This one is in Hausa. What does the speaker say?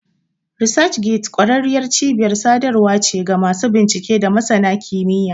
ResearchGate ƙwararriyar cibiyar sadarwa ce ga masu bincike da masana kimiyya.